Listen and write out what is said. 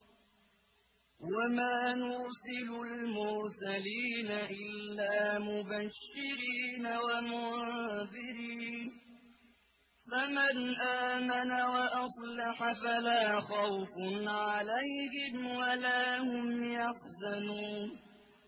وَمَا نُرْسِلُ الْمُرْسَلِينَ إِلَّا مُبَشِّرِينَ وَمُنذِرِينَ ۖ فَمَنْ آمَنَ وَأَصْلَحَ فَلَا خَوْفٌ عَلَيْهِمْ وَلَا هُمْ يَحْزَنُونَ